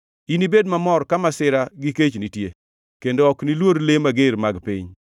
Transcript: Inibed mamor ka masira gi kech nitie kendo ok niluor le mager mag piny.